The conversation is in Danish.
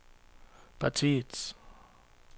partiets